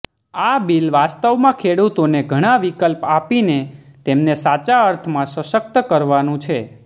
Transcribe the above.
આ બિલ વાસ્તવમાં ખેડૂતોને ઘણા વિકલ્પ આપીને તેમને સાચા અર્થમાં સશક્ત કરવાનુ છે